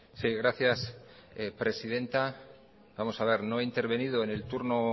sí gracias presidenta vamos a ver no he intervenido en el turno